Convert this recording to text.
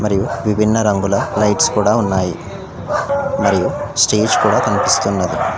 విభిన్న రంగుల లైట్స్ కూడా ఉన్నాయి మరియు స్టేజ్ కూడా కన్పిస్తున్నది.